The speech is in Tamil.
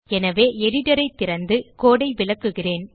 எனவே எடிட்டர் ஐ திறந்து codeஐ விளக்குகிறேன்